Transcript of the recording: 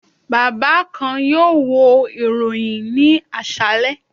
Baba kan yoo wo iroyin ni aṣalẹ